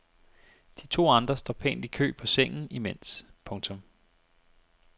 De to andre står pænt i kø på sengen imens. punktum